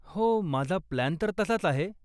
हो, माझा प्लान तर तसाच आहे.